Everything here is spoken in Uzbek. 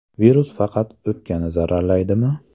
Virus faqat o‘pkani zararlaydimi?